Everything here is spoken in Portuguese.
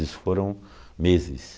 Isso foram meses.